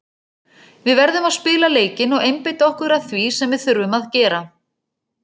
Við verðum að spila leikinn og einbeita okkur að því sem við þurfum að gera.